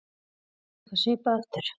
Gerist eitthvað svipað aftur?